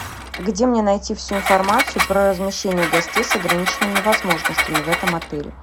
где мне найти всю информацию про размещение гостей с ограниченными возможностями в этом отеле